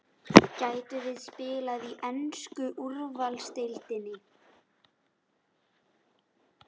Gætum við spila í ensku úrvalsdeildinni?